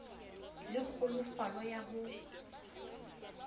le kgolofalo ya ho ya